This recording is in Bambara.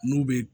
N'u bɛ